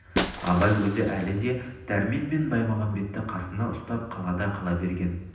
абай өзі әлі де дәрмен мен баймағамбетті қасында ұстап қалада қала берген